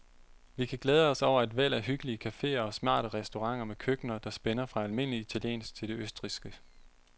Vi kan glæde os over et væld af hyggelige caféer og smarte restauranter med køkkener, der spænder fra almindelig italiensk til det østrigske.